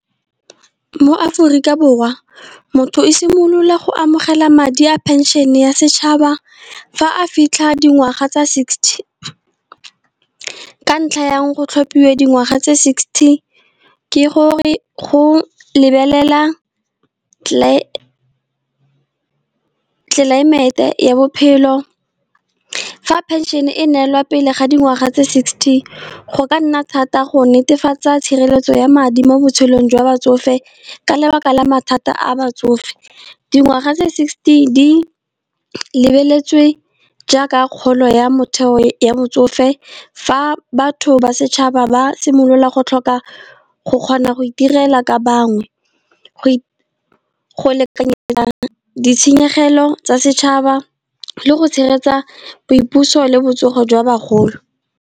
Mo Aforika Borwa motho o simolola go amogela madi a pension-e ya setšhaba fa a fitlha dingwaga tsa sixty. Ka ntlha yang go tlhophiwe dingwaga tse sixty ke gore go lebelela tlelaemete ya bophelo. Fa pension e neelwa pele ga dingwaga tse sixty, go ka nna thata go netefatsa tshireletso ya madi mo botshelong jwa batsofe, ka lebaka la mathata a batsofe. Dingwaga tse sixty, di lebeletswe jaaka kgolo ya motheo ya motsofe, fa batho ba setšhaba ba simolola go tlhoka go kgona go itirela ka bangwe. Go ditshenyegelo tsa setšhaba le go tshegetsa boipuso le botsogo jwa bagolo.